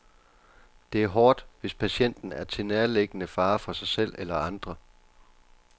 Det er hårdt, hvis patienten er til nærliggende fare for sig selv eller andre.